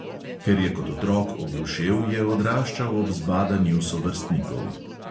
Ker je kot otrok oglušel, je odraščal ob zbadanju sovrstnikov.